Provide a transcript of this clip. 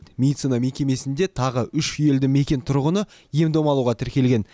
медицина мекемесінде тағы үш елді мекен тұрғыны ем дом алуға тіркелген